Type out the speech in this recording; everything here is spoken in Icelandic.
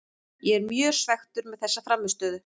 Ég er mjög svekktur með þessa frammistöðu.